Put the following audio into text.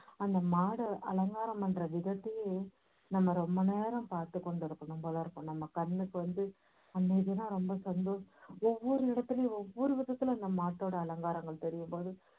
அந்த மாடை அலங்காரம் பண்ற விதத்தையே நம்ம ரொம்ப நேரம் பாத்துக்கொண்டிருக்கணும் நம்ம கண்ணுக்கு வந்து ஒவ்வொரு இடத்துலயும் ஒவ்வொரு விதத்துல அந்த மாட்டோட அலங்காரங்கள் தெரியும்போது